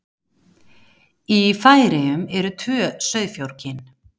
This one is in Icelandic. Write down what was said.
Í Færeyjum eru tvö sauðfjárkyn.